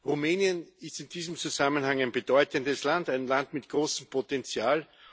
Rumänien ist in diesem Zusammenhang ein bedeutendes Land, ein Land mit großem Potenzial.